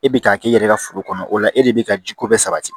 E bi k'a k'i yɛrɛ ka foro kɔnɔ o la e de be ka ji ko bɛɛ sabati